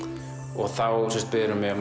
og þá biður hún mig að